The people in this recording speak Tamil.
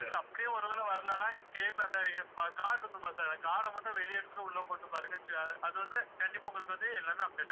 அப்படியும் ஒரு வேளை வரலைன்னா, cable அந்த card இருக்கும் இல்ல sir card அ மட்டும் வெளிய எடுத்துட்டு உள்ள போட்டு பாருங்க அது வந்து கண்டிப்பா உங்களுக்கு வந்து எல்லாமே update ஆயிரும்